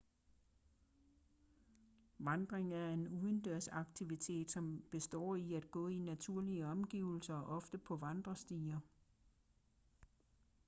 vandring er en udendørsaktivitet som består i at gå i naturlige omgivelser ofte på vandrestier